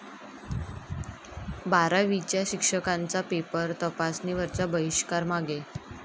बारावीच्या शिक्षकांचा पेपर तपासणीवरचा बहिष्कार मागे